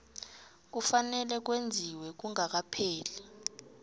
kufanele kwenziwe kungakapheli